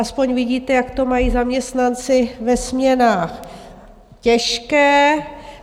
Aspoň vidíte, jak to mají zaměstnanci ve směnách těžké.